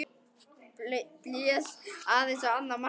Blés aðeins á annað markið.